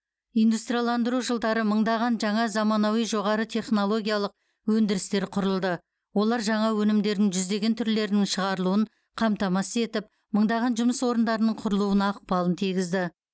индустрияландыру жылдары мыңдаған жаңа заманауи жоғары технологиялық өндірістер құрылды олар жаңа өнімдерін жүздеген түрлерінің шығарылуын қамтамасыз етіп мыңдаған жұмыс орындарының құрылуына ықпалын тигізді